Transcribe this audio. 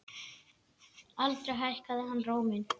Aldrei hækkaði hann róminn.